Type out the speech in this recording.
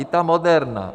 I ta Moderna.